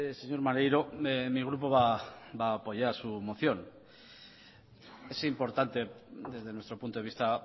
señor maneiro mi grupo va a apoyar su moción es importante desde nuestro punto de vista